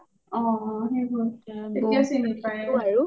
অ অ সেইবোৰ তেতিয়াও চিনি পাই